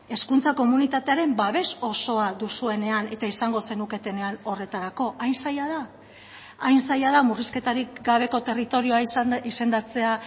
hezkuntza komunitatearen babes osoa duzuenean eta izango zenuketenean horretarako hain zaila da hain zaila da murrizketarik gabeko territorioa izendatzea